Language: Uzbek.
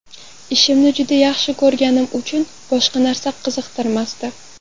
Ishimni juda yaxshi ko‘rganim uchun boshqa narsa qiziqtirmasdi.